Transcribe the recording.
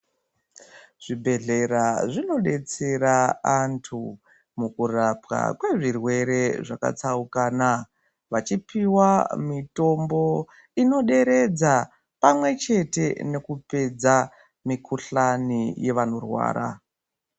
Zvibhedhlera zvinodetsera antu mukurapwa kwezvirwere zvakatsaukana vachipiwa mitombo inoderedza pamwechete nekurapa mikuhlani yevanorwara.